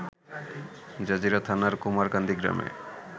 Jazeera থানার কুমারকান্দি গ্রামে